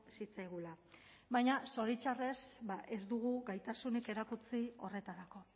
zitzaigula baina zoritxarrez ba ez dugu gaitasunik erakutsi horretarako